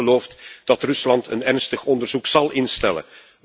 Maar niemand gelooft dat Rusland een ernstig onderzoek zal instellen.